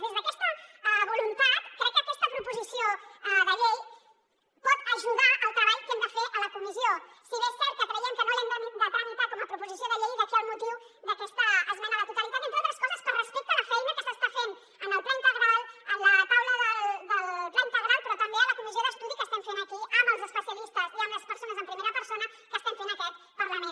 des d’aquesta voluntat crec que aquesta proposició de llei pot ajudar al treball que hem de fer a la comissió si bé és cert que creiem que no l’hem de tramitar com a proposició de llei i d’aquí el motiu d’aquesta esmena a la totalitat entre altres coses per respecte a la feina que s’està fent en el pla integral en la taula del pla integral però també a la comissió d’estudi que estem fent aquí amb els especialistes i amb les persones en primera persona que estem fent en aquest parlament